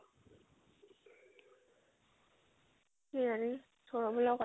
সৌৰভৰ লগত কথা